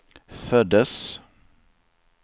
föddes